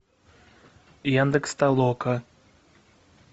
яндекс толока